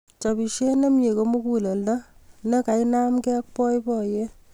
Chopisiet nemie ko muguleldo ne kainemgei ak boiboiyet